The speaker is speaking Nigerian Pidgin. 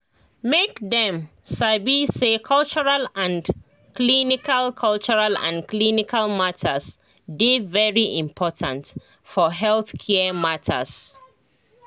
make dem sabi say cultural and clinical cultural and clinical matters dey very important for healthcare matters